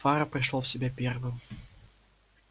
фара пришёл в себя первым